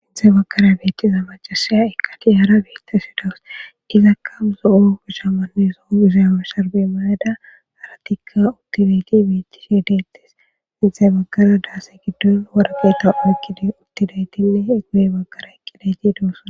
inthe baggara beettiza macasaya eqqati hara beitta su dawus izakka zo7o ushamanne zo7o izaywe sharbe mayada aratikka uttideyti bettishi deettes inthe baggara daase giddon wargeta oykkidi uttidaytinne guye baggara eqqidayti doosa